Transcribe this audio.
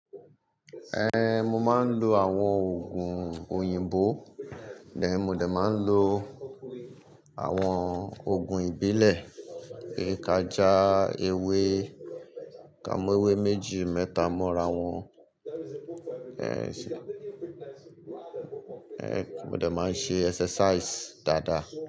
Ehn, mo máa ń lo àwọn òògùn òyìnbó, bẹ́ẹ̀ ni mo dẹ̀ máa ń lo àwọn òògùn ìbílẹ̀, èékájá, ewé, ká mọ ewé méjì mẹ́ta mọ́ra wọn., mo dẹ̀ máa ń ṣe exercise dáadáa.